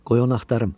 Qoy onu axtarım.